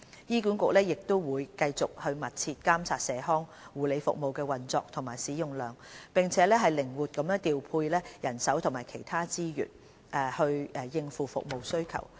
醫管局會繼續密切監察社康護理服務的運作和使用量，並靈活調配人手及其他資源，應付服務需求。